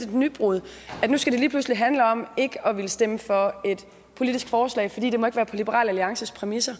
et nybrud at nu skal det lige pludselig handle om ikke at ville stemme for et politisk forslag fordi det ikke må være på liberal alliances præmisser